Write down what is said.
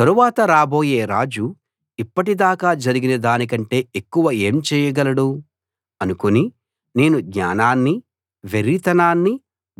తరువాత రాబోయే రాజు ఇప్పటిదాకా జరిగిన దానికంటే ఎక్కువ ఏం చేయగలడు అనుకుని నేను జ్ఞానాన్ని వెర్రితనాన్ని